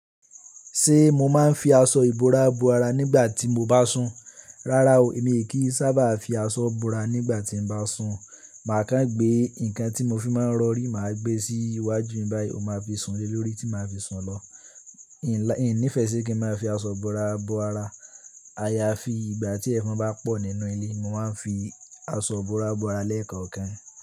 Ṣé mo máa ń fi aṣọ ìbora bo ara nígbà tí mo bá sùn? Rárá o, èmi kì í sábà fi aṣọ ìbora nígbà tí ń bá sùn. Màá kàn gbé nǹkan tí mo fi máa ń rọ̀rí, mà á gbé e sí iwájú mi báyìí, ó máa fi sùn lé lórí tí mà á fi sùn lọ. N ò níìfẹ̀ sí kí n máa fi aṣọ ìbora bo ara. A ya fi ìgbà tí ẹ̀fọn bá pọ̀ nínú ilé, mo máa ń fi aṣọ ìbora bo ara lẹ́ẹ̀kan kan.